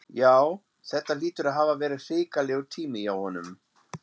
Já, þetta hlýtur að hafa verið hrikalegur tími hjá honum.